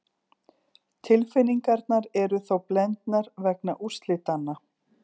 Tilfinningarnar eru þó blendar vegna úrslitanna.